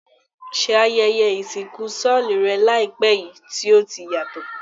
Se ayẹyẹ ìsìnkú solú rẹ làìpé yi ti o yàtò?